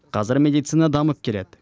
қазір медицина дамып келеді